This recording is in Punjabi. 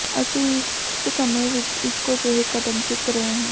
ਅਸੀਂ ਇਕ ਸਮੇਂ ਵਿਚ ਇਕੋ ਜਿਹੇ ਕਦਮ ਚੁੱਕ ਰਹੇ ਹਾਂ